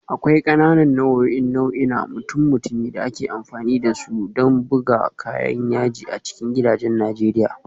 Akwai ƙananan nau'o'in nau'i na mutum-mutumi da ake amfani da su don bugun kayan yaji a cikin gidajen Najeriya